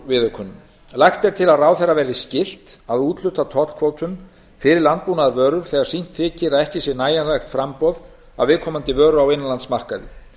viðaukunum lagt er til að ráðherra verði skylt að úthluta tollkvótum fyrir landbúnaðarvörur þegar sýnt þykir að ekki sé nægjanlegt framboð af viðkomandi vöru á innanlandsmarkaði